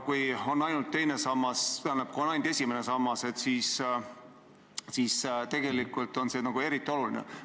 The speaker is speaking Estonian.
Kui on ainult esimene sammas, siis on see eriti oluline.